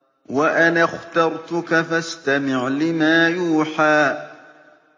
وَأَنَا اخْتَرْتُكَ فَاسْتَمِعْ لِمَا يُوحَىٰ